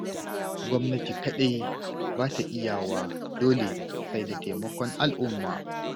Gwamnati kaɗai ba ta iyawa dole sai da taimakon al'umma.